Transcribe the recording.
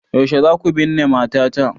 Yaushe za ku binne matata?